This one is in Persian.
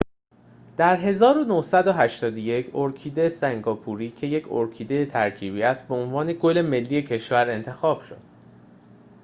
در ۱۹۸۱ ارکیده سنگاپوری که یک ارکیده ترکیبی است به عنوان گل ملی کشور انتخاب شد